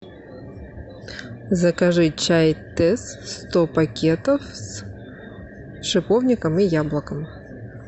закажи чай тесс сто пакетов с шиповником и яблоком